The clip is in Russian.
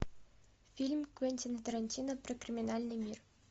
фильм квентина тарантино про криминальный мир